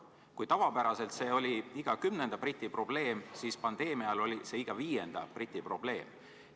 Kui tavapäraselt oli see iga kümnenda briti probleem, siis pandeemia ajal oli see iga viienda briti probleem.